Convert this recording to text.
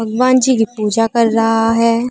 हनुमान जी की पूजा कर रहा है।